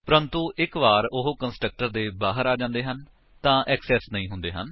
ਪਰੰਤੂ ਇੱਕ ਵਾਰ ਉਹ ਕੰਸਟਰਕਟਰ ਦੇ ਬਾਹਰ ਆ ਜਾਂਦੇ ਹਨ ਤਾਂ ਏਕਸੇਸ ਨਹੀਂ ਹੁੰਦੇ ਹਨ